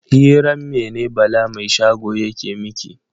Hiran mene Bala mai shago yake miki?